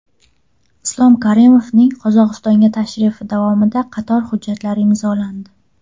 Islom Karimovning Qozog‘istonga tashrifi davomida qator hujjatlar imzolandi.